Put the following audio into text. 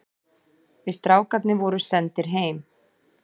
Við strákarnir vorum sendir heim.